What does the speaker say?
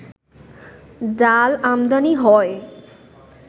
ডাল আমদানি হয়